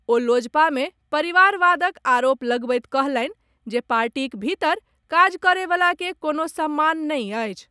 ओ लोजपा मे परिवारवादक आरोप लगबैत कहलनि जे पार्टीक भीतर काज करए वला के कोनो सम्मान नहि अछि।